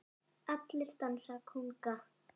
Allir dansa kónga